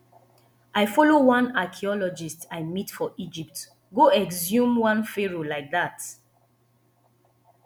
i follow one archeologist i meet for egypt go exhume one pharoah like dat